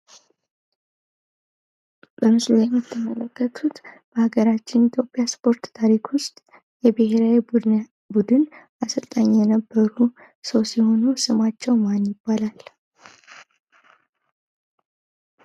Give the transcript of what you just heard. በምስሉ ላይ የምትመለከቱት በአገራችን ኢትዮጵያ የስፖርት ታሪክ ውስጥ የብሔራዊ ቡድን አሰልጣኝ የነበሩ ሰው ሲሆኑ ስማቸው ማን ይባላል?